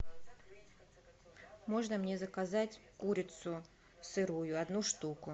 можно мне заказать курицу сырую одну штуку